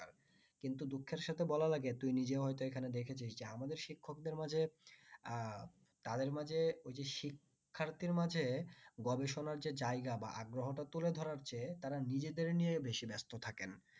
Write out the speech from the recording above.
কিন্তু দুঃখের সাথে বলা লাগে যে তুই নিজেও হইত এখানে দেখেছিস যে আমাদের শিক্ষকদের মাঝে আহ তাদের মাঝে ওই যে শিক্ষার্থীর মাঝে গবেষণার যে জায়গা বা আগ্রহটা তুলে ধরা যে নিজেদেরকে নিয়ে বেশি ব্যস্ত থাকেন